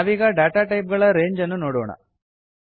ನಾವೀಗ data type ಗಳ range ಅನ್ನು ನೋಡೋಣ